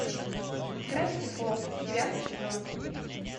гравити фолз девятый сезон